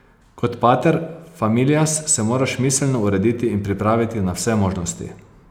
Kot pater familias se moraš miselno urediti in pripraviti na vse možnosti.